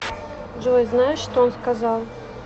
джой знаешь что он сказал